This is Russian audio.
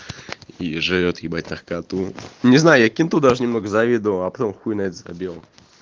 и жрёт ебать наркоту не знаю я кенту даже немного завидовал а потом хуй на это забил